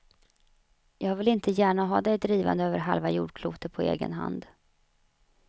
Jag vill inte gärna ha dig drivande över halva jordklotet på egen hand.